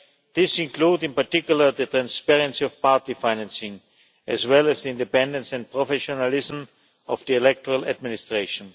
This includes, in particular, the transparency of party financing as well as the independence and professionalism of the electoral administration.